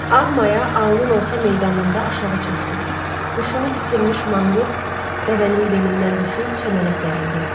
Ağ maya aulun orta meydanında aşağı çökdü, huşunu itirmiş manqurt dəvənin belindən düşüb çəmənə sərildi.